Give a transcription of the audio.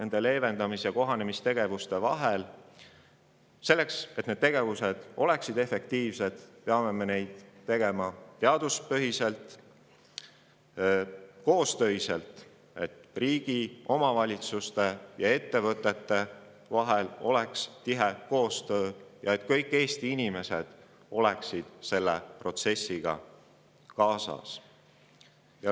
Selleks, et kliimamuutuste leevendamis- ja kohanemistegevused oleksid efektiivsed, peame me neid tegema teaduspõhiselt, koostöös – et riigi, omavalitsuste ja ettevõtete vahel oleks tihe koostöö ja et kõik Eesti inimesed tuleksid selle protsessiga kaasa.